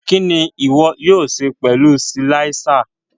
Kini iwọ yóò ṣe pẹlu silàiser?